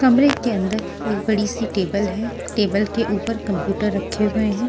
कमरे के अंदर एक बड़ी सी टेबल है टेबल के ऊपर कंप्यूटर रखे हुए हैं।